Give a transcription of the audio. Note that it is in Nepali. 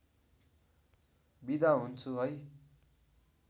बिदा हुन्छु है